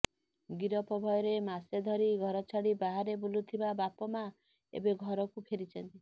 ଗିରଫ ଭୟରେ ମାସେ ଧରି ଘରଛାଡି ବାହାରେ ବୁଲୁଥିବା ବାପା ମା ଏବେ ଘରକୁ ଫେରିଛନ୍ତି